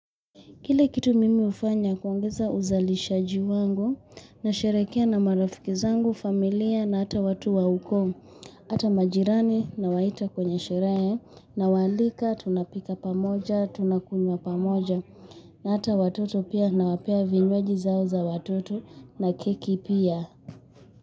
Ile kitu mimi hufanya kuongeza uzalishaji wangu nasherehekea na marafiki zangu, familia na hata watu wa ukoo. Hata majirani nawaita kwenye sherehe nawaalika, tunapika pamoja, tunakunywa pamoja. Na hata watoto pia nawapea vinywaji zao za watoto na keki pia.